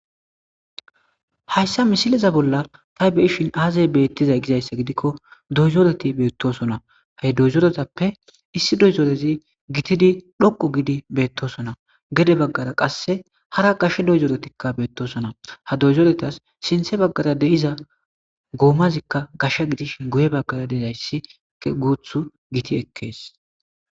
hayssa misileza bolla tay beyishin aazay beettizay gizayssa gidikko doyzoreti beettosona ha doyzoretappe issi doyzoorezi gitidi dhoqu gidi beettosona gede baggara qasse hara gashe doyzoretikka beettosona ha doyzoretas sinthe baggara de7iza guomazikka gashsha gidish guye baggara deidayssiguuth giti ekkees